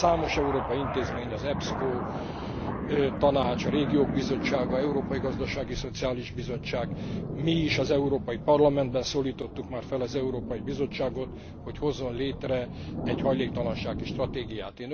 Számos európai intézmény, az EPSCO, a Tanács, a Régiók Bizottsága, az Európai Gazdasági és Szociális Bizottság, mi is, az Európai Parlamentben szólítottuk már fel az Európai Bizottságot, hogy hozzon létre egy hajléktalansági stratégiát.